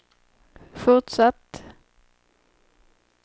fortsatt